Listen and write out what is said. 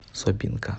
собинка